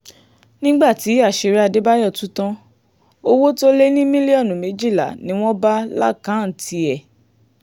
nígbà tí àṣírí adébáyò tú tán owó tó lé ní mílíọ̀nù méjìlá ni wọ́n bá lákàntì ẹ̀